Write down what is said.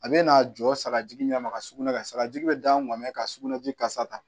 A bɛ n'a jɔ sagaji ɲɛ ma ka sugunɛ kɛ sagaji bɛ da n kun bɛ ka sugunɛji kasa ta